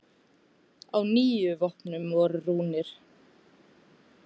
Á níu vopnum voru rúnir.